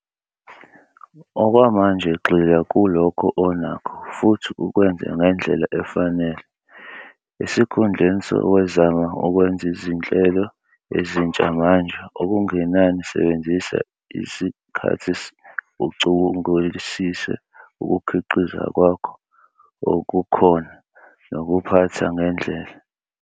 Okwamanje gxila kulokho onakho futhi ukwenze ngendlela efanele. Esikhundleni sokwezama ukwenza izinhlelo ezintsha manje okungenani sebenzisa isikhathi ucubungulisise ukukhiqiza kwakho okukhona nokuphatha ngendlela.